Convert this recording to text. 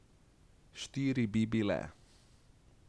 Štiri bi bile ...